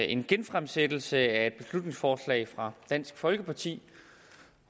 en genfremsættelse af et beslutningsforslag fra dansk folkeparti